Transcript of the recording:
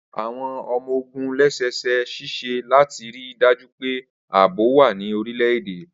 Awọn ọmọ-ogun lẹ́sẹsẹ ṣiṣẹ lati rii daju pe aabo wa ní orilẹ-ede.